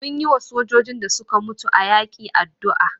Mun yiwa sojojin da suka mutu a yaƙi addu'a.